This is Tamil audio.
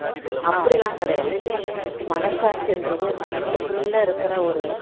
அப்படிலாம் கிடையாது மனசாட்சி என்றது வந்து நம்மளுக்குள்ள இருக்கிற ஒரு